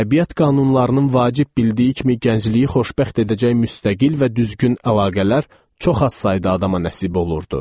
Təbiət qanunlarının vacib bildiyi kimi gəncliyi xoşbəxt edəcək müstəqil və düzgün əlaqələr çox az sayda adama nəsib olurdu.